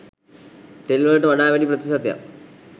තෙල් වලට වඩා වැඩි ප්‍රතිශතයක්